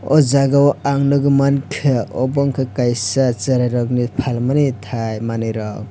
ah jaga o ang nugui manka omo unke kaisa cherai rok ni falmani thai manei rok.